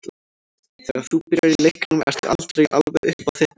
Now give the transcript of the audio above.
Þegar þú byrjar í leiknum ertu aldrei alveg upp á þitt besta.